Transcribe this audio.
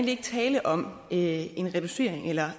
ikke tale om en reducering eller